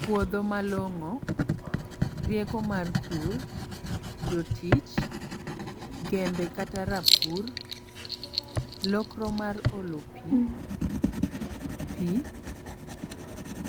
Puodho malong'o, rieko mar pur, jotich, gembe kata rapur, lokro mar olo pi, pi,